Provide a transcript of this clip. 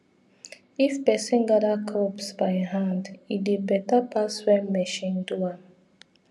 if person gather crops by hand e dey better pass when machine do am